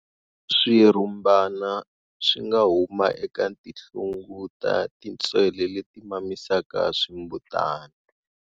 Swirhumbana swi nga huma eka tinhlungu ta tintswele leti mamisaka swimbutana.